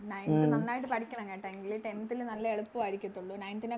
Nineth നന്നായിട്ട് പഠിക്കണം കേട്ട എങ്കിലേ Tenth ല് നല്ല എളുപ്പവരിക്കത്തൊള്ളൂ Nineth നെ